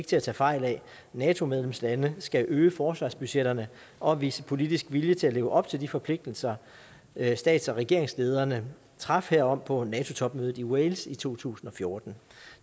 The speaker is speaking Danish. til at tage fejl af nato medlemslande skal øge forsvarsbudgetterne og vise politisk vilje til at leve op til de forpligtelser stats og regeringslederne traf herom på nato topmødet i wales i to tusind og fjorten